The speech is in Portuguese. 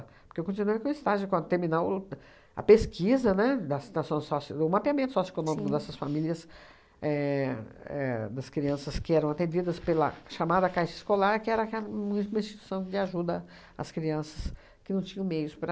Porque eu continuei com o estágio, quando terminar o a pesquisa, né, da situação sócio o mapeamento socioeconômico dessas famílias, éh éh das crianças que eram atendidas pela chamada Caixa Escolar, que era ca uma uma instituição de ajuda às crianças que não tinham meios para...